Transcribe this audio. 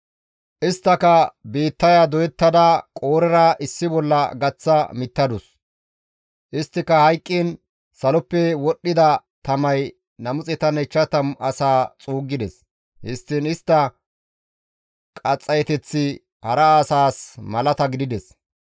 Isttaka biittaya doyettada Qoorera issi bolla gaththa mittadus; isttika hayqqiin saloppe wodhdhida tamay 250 asaa xuuggides; histtiin istta qaxxayeteththi hara asaas malata gidides.